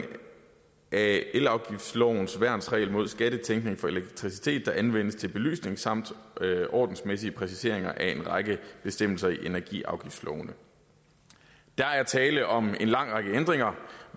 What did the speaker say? af elafgiftslovens værnsregel mod skattetænkning for elektricitet der anvendes til belysning samt ordensmæssige præciseringer af en række bestemmelser i energiafgiftslovene der er tale om en lang række ændringer